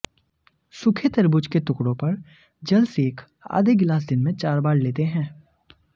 सूखे तरबूज के टुकड़ों पर जलसेक आधे गिलास दिन में चार बार लेते हैं